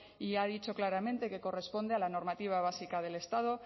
y ha dicho claramente que corresponde a la normativa básica del estado